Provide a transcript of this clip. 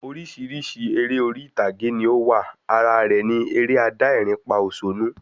Orísirísi eré orí ìtàgé ni o wa, ara rẹ ni eré adá ẹ̀rín pa òsónú